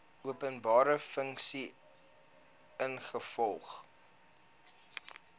openbare funksie ingevolge